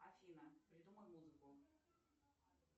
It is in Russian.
афина придумай музыку